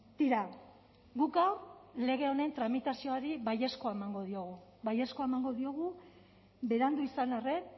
tira guk gaur lege honen tramitazioari baiezkoa emango diogu baiezkoa emango diogu berandu izan arren